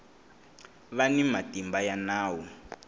va ni matimba ya nawu